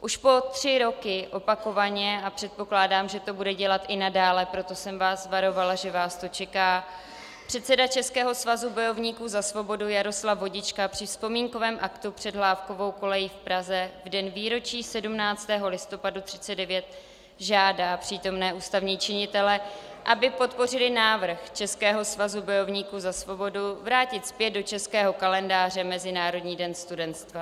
Už po tři roky opakovaně, a předpokládám, že to bude dělat i nadále, proto jsem vás varovala, že vás to čeká, předseda Českého svazu bojovníků za svobodu Jaroslav Vodička při vzpomínkovém aktu před Hlávkovou kolejí v Praze v den výročí 17. listopadu 1939 žádá přítomné ústavní činitele, aby podpořili návrh Českého svazu bojovníků za svobodu vrátit zpět do českého kalendáře Mezinárodní den studentstva.